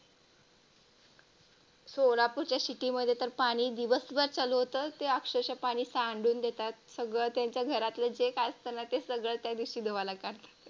सोलापूरच्या City मध्ये तर पाणी दिवसभर चालू होता. ते अक्षरशः पाणी सांडून देतात. सगळं त्यांच्या घरातलं जे काय असतं ना ते त्या दिवशी धुवायला काढतात.